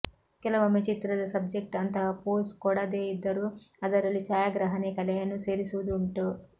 ಕೆಲವೊಮ್ಮೆ ಚಿತ್ರದ ಸಬ್ಜೆಕ್ಟ್ ಅಂತಹ ಪೋಸ್ ಕೊಡದೇ ಇದ್ದರೂ ಅದರಲ್ಲಿಛಾಯಾಗ್ರಾಹಕನೇ ಕಲೆಯನ್ನು ಸೇರಿಸುವುದೂ ಉಂಟು